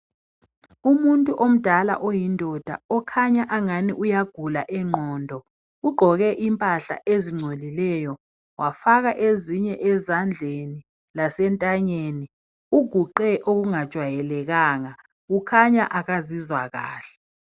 Umuntu omdala oyindoda okhanya angani uyagula ingqondo. Ugqoke impahla ezingcolileyo wafaka ezinye ezandleni lasentanyeni. Uguqe okungajwayelekanga. Ukhanya akazizwa kahle.